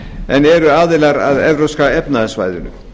en eru aðilar að evrópska efnahagssvæðinu